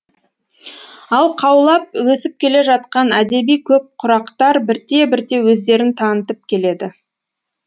ал қаулап өсіп келе жатқан әдеби көк құрақтар бірте бірте өздерін танытып келеді